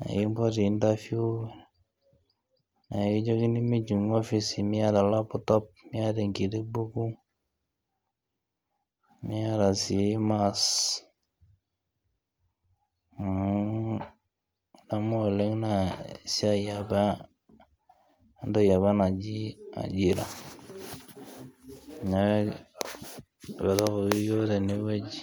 nikipoti interview naa ekijokini mijingu office, miata laptop ekiti buku niata sii maas, nguungu adamu oooleng naa esiai apa etoki apa naji ajira neaku ipotokoki yiook tene wueji...